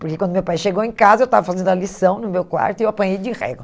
Porque quando meu pai chegou em casa, eu estava fazendo a lição no meu quarto e eu apanhei de régua.